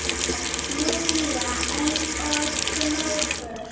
spyr Júlía eins og glópur.